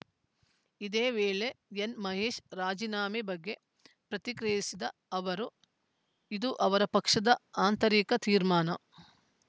ಇದೇ ವೇಳೆ ಎನ್‌ಮಹೇಶ್‌ ರಾಜೀನಾಮೆ ಬಗ್ಗೆ ಪ್ರತಿಕ್ರಿಯಿಸಿದ ಅವರು ಇದು ಅವರ ಪಕ್ಷದ ಆಂತರಿಕ ತೀರ್ಮಾನ